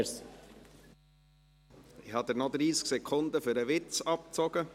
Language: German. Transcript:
Ich habe Ihnen noch 30 Sekunden für den Witz abgezogen.